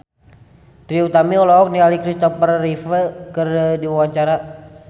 Trie Utami olohok ningali Christopher Reeve keur diwawancara